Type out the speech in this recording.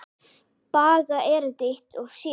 Baga erindi eitt og sér.